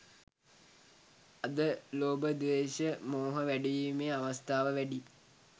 අද ලෝභ ද්වේශ මෝහ වැඩිවීමේ අවස්ථාව වැඩියි.